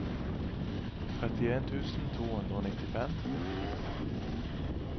trettien tusen to hundre og nittifem